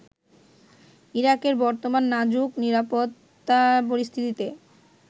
ইরাকের বর্তমান নাজুক নিরাপত্তা পরিস্থিতিতে